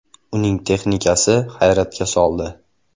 Uning texnikasi hayratga soldi.